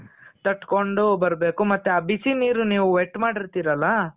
ತಟ್ಕೊಂಡು ಬರಬೇಕು. ಮತ್ತೆ ಆ ಬಿಸಿ ನೀರು ನೀವು wet ಮಾಡಿರ್ತಿರಲ